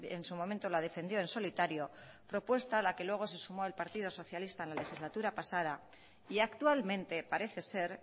en su momento la defendió en solitario la propuesta a la que luego se sumó el partido socialista en la legislatura pasada y actualmente parece ser